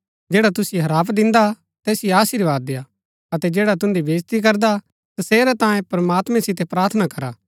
जैडा तुसिओ हराप दिन्दा तैसिओ अशीर्वाद देआ अतै जैडा तुन्दी बेईज्ती करदा तसेरै तांऐ प्रमात्मां सितै प्रार्थना करा